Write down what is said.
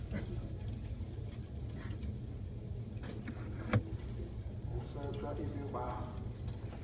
ho faswa e bo ba